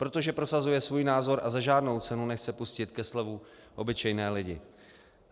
Protože prosazuje svůj názor a za žádnou cenu nechce pustit ke slovu obyčejné lidi.